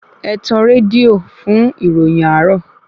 Ẹtàn rédíò fún ìròyìn àárò